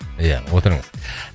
иә отырыңыз